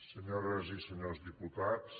senyores i senyors diputats